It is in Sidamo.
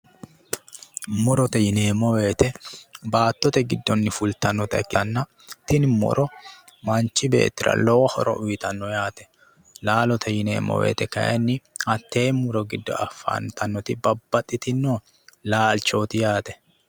Murote yineemmo woyiite baattote giddonni fultannota ikkitanna. tini muro manchi beettira lowo horo uuyiitanno yaate. laalote yineemmo woyite kaayiinni tee muro giddo afantannoti babbaxitino laalchooti yaate.